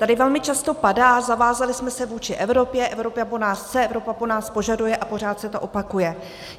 Tady velmi často padá: zavázali jsme se vůči Evropě, Evropa po nás chce, Evropa po nás požaduje, a pořád se to opakuje.